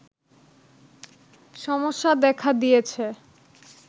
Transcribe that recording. সমস্যা দেখা দিয়েছে